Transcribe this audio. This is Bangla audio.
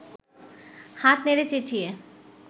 হাত নেড়ে চেঁচিয়ে